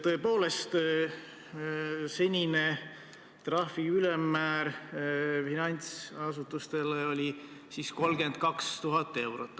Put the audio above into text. Tõepoolest, senine trahvi ülemmäär finantsasutustel oli 32 000 eurot.